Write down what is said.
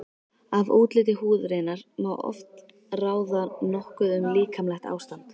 Af útliti húðarinnar má oft ráða nokkuð um líkamlegt ástand.